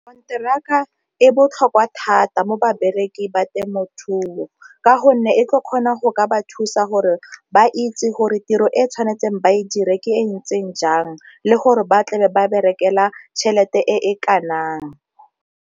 e botlhokwa thata mo babereki ba temothuo, ka gonne e tlo kgona go ka ba thusa gore ba itse gore tiro e e tshwanetseng ba e dire ke e ntseng jang le gore ba tlabe ba berekela tšhelete e .